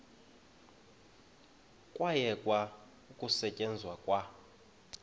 kwayekwa ukusetyenzwa kwa